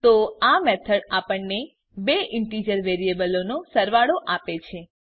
તો આ મેથડ આપણને બે ઈન્ટીજર વેરીએબલો નો સરવાળો આપે છે